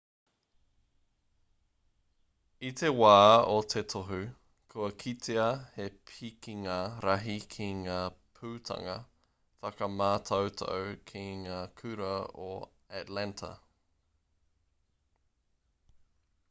i te wā o te tohu kua kitea he pikinga rahi ki ngā putanga whakamātautau ki ngā kura o atlanta